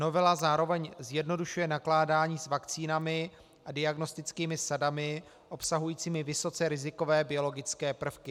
Novela zároveň zjednodušuje nakládání s vakcínami a diagnostickými sadami obsahujícími vysoce rizikové biologické prvky.